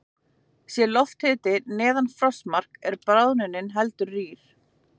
Sé lofthiti neðan frostmarks er bráðnunin heldur rýr.